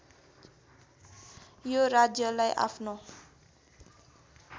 यो राज्यलाई आफ्नो